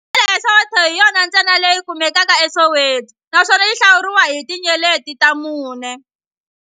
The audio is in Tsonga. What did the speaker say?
Hodela ya Soweto hi yona ntsena leyi kumekaka eSoweto, naswona yi hlawuriwa hi tinyeleti ta mune.